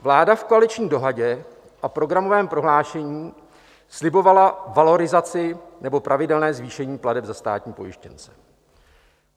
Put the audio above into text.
Vláda v koaliční dohodě a programovém prohlášení slibovala valorizaci nebo pravidelné zvýšení plateb za státní pojištěnce.